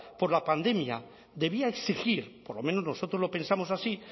por la pandemia debía exigir por lo menos nosotros lo pensamos así